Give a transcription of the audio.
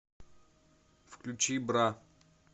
включи бра